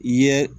I ye